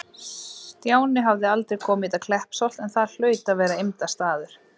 Stjáni hafði aldrei komið í þetta Kleppsholt, en það hlaut að vera eymdarstaður.